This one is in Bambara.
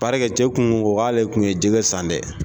cɛ kun ko ko k'ale kun ye jɛgɛ san dɛ.